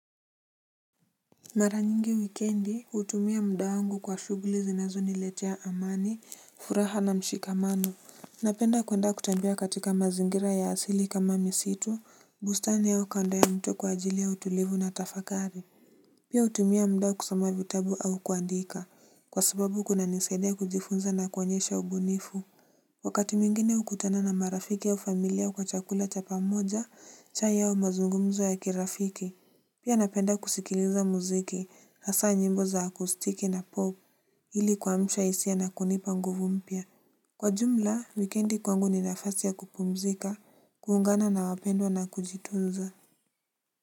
Mara nyingi wikendi hutumia muda wangu kwa shughuli zinazo niletea amani, furaha na mshikamano. Napenda kwenda kutembia katika mazingira ya asili kama misitu, bustani au kando ya mto kwa ajili ya utulivu na tafakari. Pia hutumia muda kusoma vitabu au kuandika, kwa sababu kuna nisaidia kujifunza na kuonyesha ubunifu. Wakati mwingine hukutana na marafiki au familia kwa chakula cha pamoja, chai au mazungumzo ya kirafiki. Pia napenda kusikiliza muziki, hasa nyimbo za akustike na pop, ili kuamsha hisia na kunipa nguvu mpya. Kwa jumla, wikiendi kwangu ni nafasi ya kupumzika, kuungana na wapendwa na kujitunza.